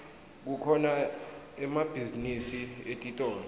kukhona emabhizinisi etitolo